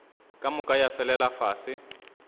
ka moka ya felela fase